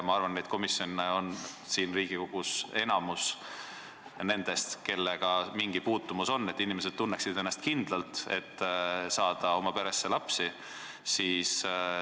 Ma arvan, et need komisjonid on siin Riigikogus enamuses, need on komisjonid, kellel on mingi puutumus sellega, et inimesed tunneksid ennast kindlalt, selleks et saada lapsi.